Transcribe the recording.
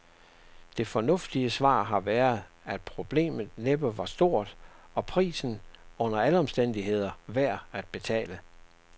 Det fornuftige svar har været, at problemet næppe var stort, og prisen under alle omstændigheder værd at betale.